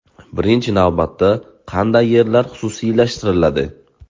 Birinchi navbatda qanday yerlar xususiylashtiriladi?